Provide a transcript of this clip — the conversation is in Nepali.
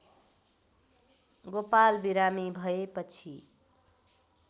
गोपाल बिरामी भएपछि